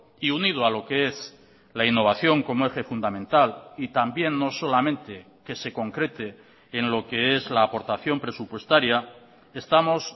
y unido a lo que es la innovación como eje fundamental y también no solamente que se concrete en lo que es la aportación presupuestaria estamos